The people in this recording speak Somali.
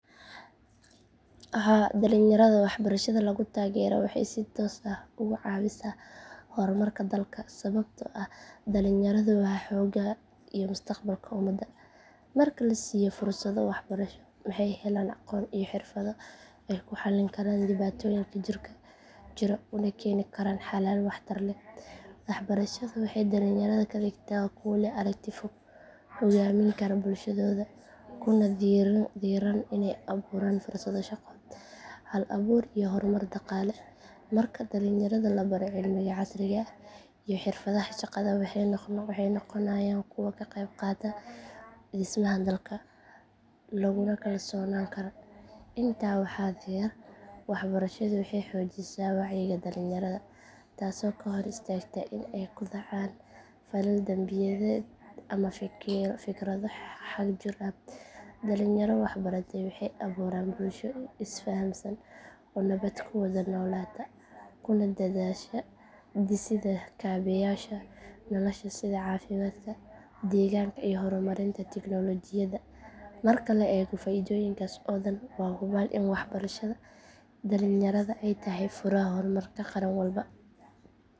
Haa dhalinyarada waxbarashada lagu taageero waxay si toos ah ugu caawisaa horumarka dalka sababtoo ah dhalinyaradu waa xoogga iyo mustaqbalka ummadda. Marka la siiyo fursado waxbarasho waxay helaan aqoon iyo xirfado ay ku xallin karaan dhibaatooyinka jira una keeni karaan xalal waxtar leh. Waxbarashadu waxay dhalinyarada ka dhigtaa kuwo leh aragti fog, hogaamin kara bulshadooda kuna dhiirran inay abuuraan fursado shaqo, hal abuur iyo horumar dhaqaale. Marka dhalinyarada la baro cilmiga casriga ah iyo xirfadaha shaqada waxay noqonayaan kuwo ka qeyb qaata dhismaha dalka laguna kalsoonaan karo. Intaa waxaa dheer waxbarashadu waxay xoojisaa wacyiga dhalinyarada taasoo ka hor istaagta in ay ku dhacaan falal dambiyeed ama fikrado xagjir ah. Dhalinyaro waxbartay waxay abuuraan bulsho is fahamsan oo nabad ku wada noolaata kuna dadaasha dhisidda kaabeyaasha nolosha sida caafimaadka, deegaanka iyo horumarinta tignoolajiyadda. Marka la eego faa’iidooyinkaas oo dhan waa hubaal in waxbarashada dhalinyarada ay tahay furaha horumarka qaran walba.